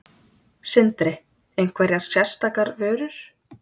Sindri: Einhverjar sérstakar vörur?